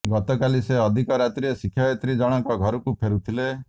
ଗତକାଲି ସେ ଅଧିକ ରାତିରେ ଶିକ୍ଷୟିତ୍ରୀ ଜଣଙ୍କ ଘରକୁ ଫେରୁଥିଲେ